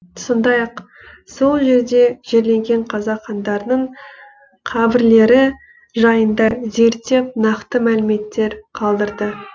сондай ақ сол жерде жерленген қазақ хандарының қабірлері жайында зерттеп нақты мәліметтер қалдырды